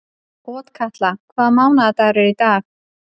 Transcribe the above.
Otkatla, hvaða mánaðardagur er í dag?